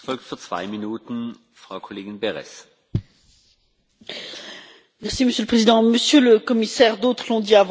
Monsieur le Président, Monsieur le Commissaire, d'autres l'ont dit avant moi dans ce débat, les FinTech introduisent une révolution prometteuse.